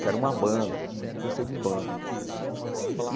que era uma banda, eu sempre gostei de banda.